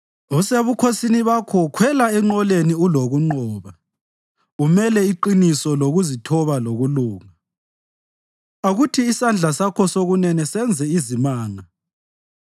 Usebukhosini bakho khwela enqoleni ulokunqoba umele iqiniso lokuzithoba lokulunga; akuthi isandla sakho sokunene senze izimanga.